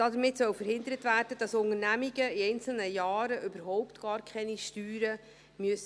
Damit soll verhindert werden, dass Unternehmungen in einzelnen Jahren überhaupt keine Steuern bezahlen müssen.